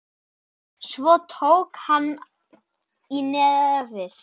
Svo tók hann í nefið.